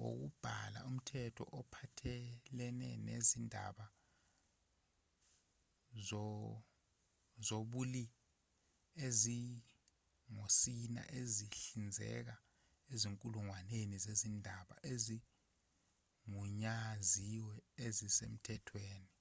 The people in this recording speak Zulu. wokubhala umthetho ophathelene nezindaba zobulli ezingosini ezihlinzeka izinkulungwane ngezindaba ezigunyaziwe ezisemthethweni